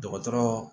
Dɔgɔtɔrɔ